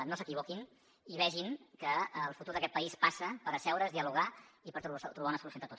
no s’equivoquin i vegin que el futur d’aquest país passa per asseure’s dialogar i per trobar una solució entre tots